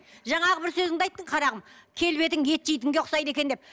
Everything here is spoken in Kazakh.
жаңағы бір сөзінде айттың қарағым келбетің ет жейтінге ұқсайды екен деп